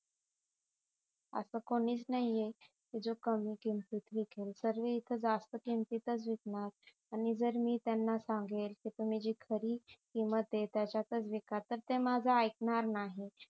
अस कोणीच नाहीये जो कमी किमतीत विकेल सर्वे इथ जास्त किंमतीतच विकणार आणि जर मी त्यांना सांगेल कि तुम्ही जी खरी किंमतय त्याच्यातच विका तर ते माझं आईकणार नाही